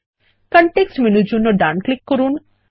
context মেনুর জন্য ডান ক্লিক করুন